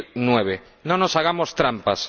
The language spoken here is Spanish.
2009. No nos hagamos trampas